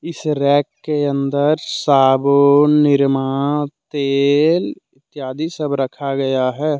इस रैक के अंदर साबुन निरामा तेल इत्यादि सब रखा गया है।